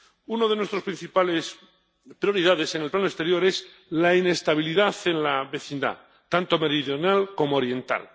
Una de nuestras principales prioridades en el plano exterior es la inestabilidad en la vecindad, tanto meridional como oriental.